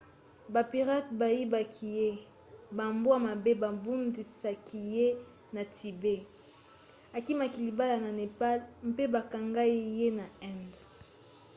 bapirate bayibaki ye bambwa mabe babundisaki ye na tibet akimaki libala na népal mpe bakangai ye na inde